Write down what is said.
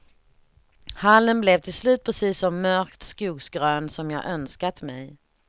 Hallen blev till slut precis så mörkt skogsgrön som jag önskat mig.